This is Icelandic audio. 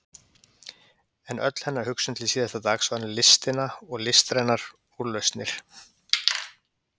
En öll hennar hugsun til síðasta dags var um listina og listrænar úrlausnir.